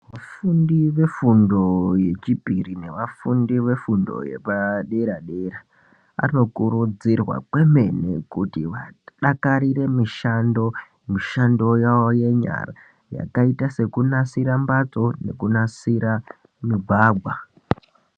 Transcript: Vafundi vefundo yechipiri nevafundi vefundo yepaderadera vanokurudzirwa kwemene kuti vadakarire mishando, mishando yawo yenyara yakaite sekunasira mbatso nekunasira migwagwa.